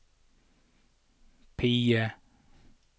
PIE